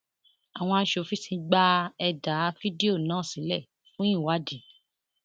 àwọn aṣòfin ti gba ẹdà fídíò náà sílẹ fún ìwádìí